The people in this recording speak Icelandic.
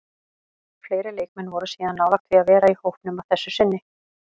Fleiri leikmenn voru síðan nálægt því að vera í hópnum að þessu sinni.